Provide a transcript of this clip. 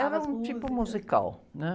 As músicas.ra um tipo musical.